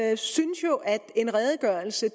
jeg synes jo at en redegørelse